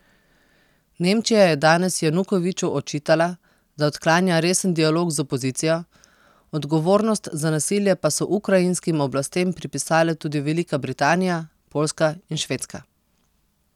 Nemčija je danes Janukoviču očitala, da odklanja resen dialog z opozicijo, odgovornost za nasilje pa so ukrajinskim oblastem pripisale tudi Velika Britanija, Poljska in Švedska.